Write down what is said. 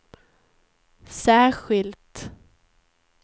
särskilt